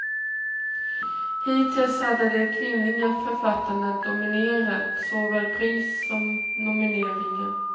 Hittills hade de kvinnliga författarna dominerat såväl pris som nomineringar.